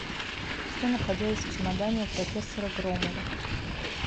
что находилось в чемодане у профессора громова